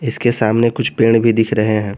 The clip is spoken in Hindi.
उसके सामने कुछ पेड़ भी दिख रहे हैं।